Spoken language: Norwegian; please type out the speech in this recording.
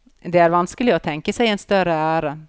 Det er vanskelig å tenke seg en større ære.